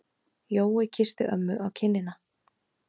Jói kyssti ömmu á kinnina.